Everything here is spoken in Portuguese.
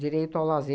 Direito ao